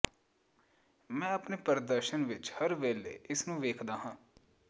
ਮੈਂ ਆਪਣੇ ਪ੍ਰਦਰਸ਼ਨ ਵਿਚ ਹਰ ਵੇਲੇ ਇਸ ਨੂੰ ਵੇਖਦਾ ਹਾਂ